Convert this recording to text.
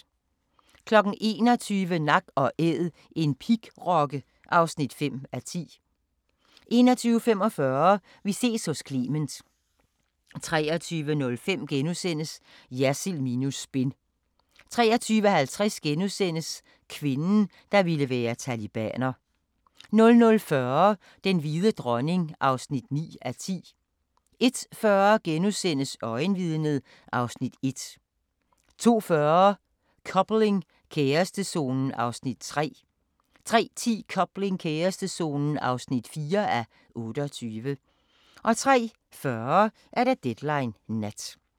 21:00: Nak & Æd – en pigrokke (5:10) 21:45: Vi ses hos Clement 23:05: Jersild minus spin * 23:50: Kvinden, der ville være talibaner * 00:40: Den hvide dronning (9:10) 01:40: Øjenvidnet (Afs. 1)* 02:40: Coupling – kærestezonen (3:28) 03:10: Coupling – kærestezonen (4:28) 03:40: Deadline Nat